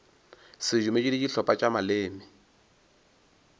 sedumedi le dihlopha tša maleme